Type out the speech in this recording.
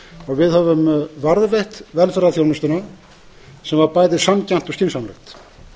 og við höfum varið velferðarþjónustuna sem var bæði sanngjarnt og skynsamlegt